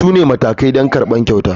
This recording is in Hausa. Su ne matakai don karɓar kyauta.